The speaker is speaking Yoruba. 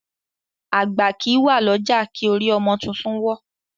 Àgbà kìí wà ní ọjà kí orí ọmọ tuntun wọ́.